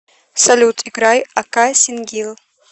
салют играй ака сингил